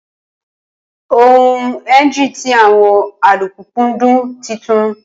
Awọn engine ti awọn alupupu dun titun